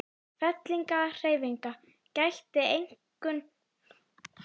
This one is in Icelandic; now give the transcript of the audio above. Fellingahreyfinga gætti einkum umhverfis Kyrrahaf og